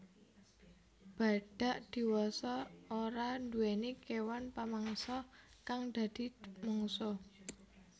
Badhak diwasa ora nduwèni kéwan pamangsa kang dadi mungsuh